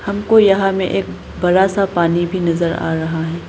हमको यहां में एक बड़ा सा पानी भी नजर आ रहा है।